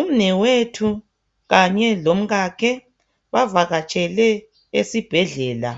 Umnewethu kanye lomkakhe bavakatshele esibhedlela,